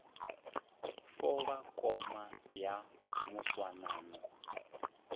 fo ba koma ya moswanano